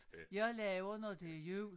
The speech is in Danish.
Jeg laver når det jul